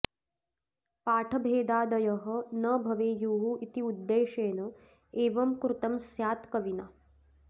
पाठभेदादयः न भवेयुः इति उद्देशेन एवं कृतं स्यात् कविना